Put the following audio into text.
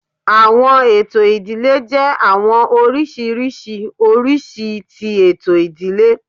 Awọn eto idile jẹ awọn oriṣiriṣi oriṣi ti eto idile